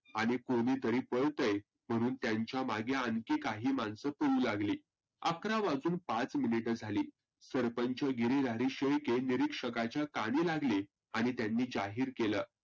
आणि कोणि तरी पळतय म्हणून त्यांच्या मागे आनखी काही माणसं पळू लागली. अकरा वाजून पाच मिनीट झाली सरपंच गिरिहरी शेळके परिक्षकांच्या कानी लागले आणि त्यांनी जाहीर केलं